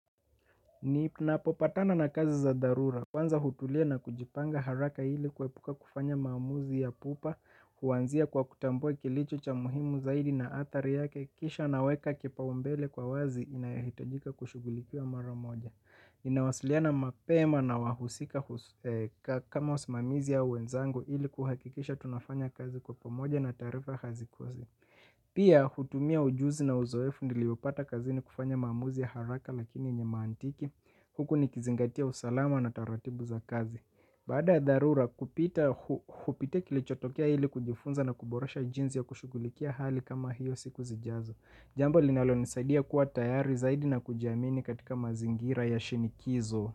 Ninapopatana na kazi za dharura, kwanza hutulia na kujipanga haraka ili kuepuka kufanya maamuzi ya pupa, huanzia kwa kutambua kilicho cha muhimu zaidi na athari yake, kisha naweka kipaombele kwa wazi inayohitajika kushughulikiwa mara moja. Ninawasiliana mapema na wahusika kama wasimamizi ya wenzangu ili kuhakikisha tunafanya kazi kwa pamoja na taarifa hazikosi. Pia hutumia ujuzi na uzoefu niliopata kazini kufanya maamuzi ya haraka lakini yenye maantiki. Huku nikizingatia usalama na taratibu za kazi baada dharura kupita kilichotokea ili kujifunza na kuboresha jinsi ya kushughulikia hali kama hiyo siku zijazo. Jambo linalonisaidia kuwa tayari zaidi na kujiamini katika mazingira ya shinikizo.